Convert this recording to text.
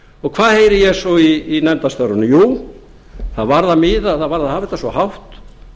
og hvað heyri ég svo í nefndarstörfunum jú það varðar mig að hafa þetta svo hátt